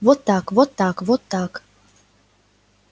вот так вот так вот так